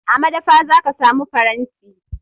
A madafa za ka samu faranti.